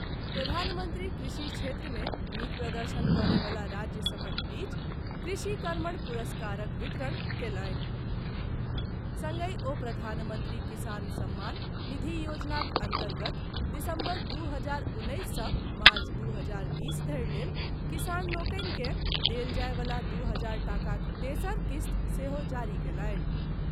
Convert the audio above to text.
प्रधानमंत्री कृषि क्षेत्र मे नीक प्रदर्शन करयवला राज्य सभक बीच कृषि कर्मण पुरस्कारक वितरण कयलनि, संगहि ओ प्रधानमंत्री किसान सम्मान निधि योजनाक अन्तर्गत दिसम्बर दू हजार उन्नैस सँ मार्च दू हजार बीस धरि लेल किसान लोकनि के देल जायवला दू हजार टाकाक तेसर किस्त सेहो जारी कयलनि।